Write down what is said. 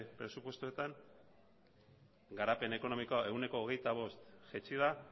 presupuestoetan garapen ekonomikoa ehuneko hogeita bost jaitsi da